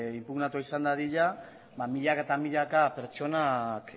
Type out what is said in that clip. inpugnatua izan dadila milaka eta milaka pertsonak